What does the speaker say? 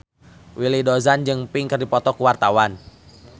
Willy Dozan jeung Pink keur dipoto ku wartawan